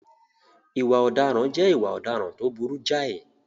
Ìwà ọ̀daràn jẹ́ ìwà ọ̀daràn tó burú jáì.